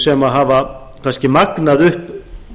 sem hafa kannski magnað upp